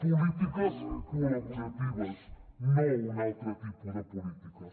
polítiques col·laboratives no un altre tipus de polítiques